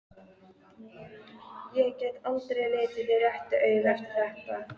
Ég get aldrei litið þig réttu auga eftir þetta.